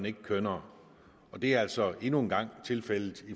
ikke kønnere og det er altså endnu en gang tilfældet